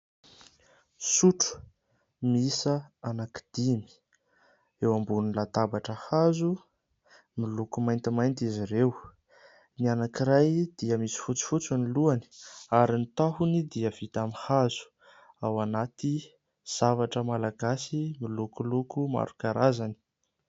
Sotro miisa anankidimy, eo ambony latabatra hazo, miloko maintimainty izy ireo. Ny anankiray dia misy fotsifotsy ny lohany, ary ny tahony dia vita amin'ny hazo. Ao anaty zavatra malagasy milokoloko maro karazany.